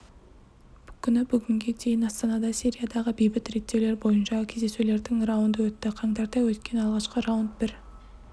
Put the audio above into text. күні бүгінге дейін астанада сириядағы бейбіт реттеулер бойынша кездесулердің раунды өтті қаңтарда өткен алғашқы раунд бір